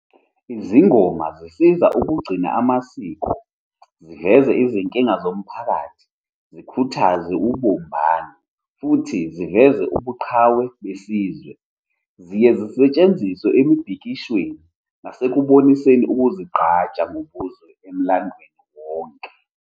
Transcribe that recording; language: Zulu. Izingoma zisiza ukugcina amasiko, ziveze izinkinga zomphakathi, zikhuthaze ubumbano, futhi ziveze ubuqhawe besizwe. Ziye zisetshenziswe emibhikishweni nasekuboniseni ukuzigqaja ngobuzwe emlandweni wonke.